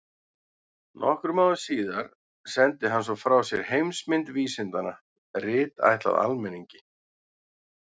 Nokkrum árum síðar sendi hann svo frá sér Heimsmynd vísindanna, rit ætlað almenningi.